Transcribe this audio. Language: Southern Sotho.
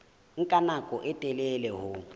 nka nako e telele ho